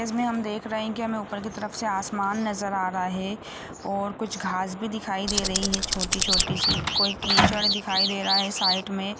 इसमें हम देख रहे हैं कि हमें ऊपर की तरफ से आसमान नजर आ रहा है और कुछ खास भी दिखाई दे रही है छोटी-छोटी सी कोई कीचड़ दिखाई दे रहा है साइड में--